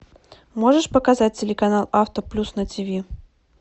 можешь показать телеканал авто плюс на тв